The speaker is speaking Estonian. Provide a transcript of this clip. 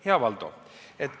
Hea Valdo!